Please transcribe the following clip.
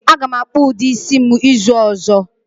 Aga m akpu udi isi m uzu ozo.